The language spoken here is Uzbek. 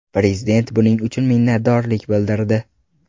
Prezident buning uchun minnatdorlik bildirdi.